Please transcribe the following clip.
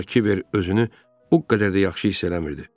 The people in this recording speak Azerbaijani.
Ancaq Kibər özünü o qədər də yaxşı hiss eləmirdi.